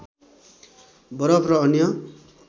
बरफ र अन्य